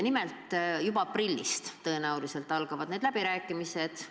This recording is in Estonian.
Nimelt, tõenäoliselt juba aprillis-mais algavad need läbirääkimised.